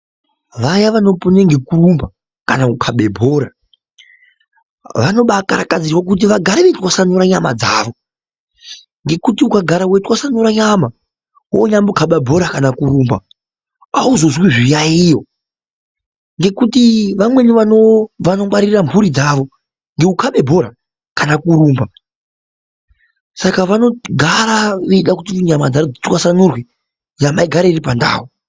Vaya vanopone nekurumba kana kukabe bhora vanobakarakadzirwa kuti vagare veitwasanura nyama dzavo ngekuti ukagara weitwasanura nyama wonyambokaba bhora kana kurumba auzozwi zviyaiyo ngekuti vamweni vanongwarire mhuri dzavo ngekukabe bhora kana kurumba saka vanogara veida kuti nyama dzavo dzitwasanurwe nyama igare iripandau.